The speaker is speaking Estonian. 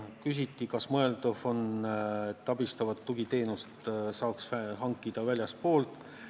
Küsiti ka, kas on mõeldav, et abistavat tugiteenust saaks hankida väljastpoolt.